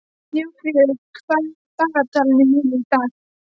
Snjófríður, hvað er í dagatalinu mínu í dag?